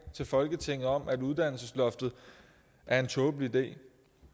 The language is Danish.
til folketinget om at uddannelsesloftet er en tåbelig idé